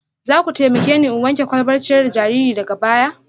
Za ku taimake ni in wanke kwalbar ciyar da jariri daga baya